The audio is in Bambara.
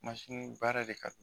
Mansini baara de ka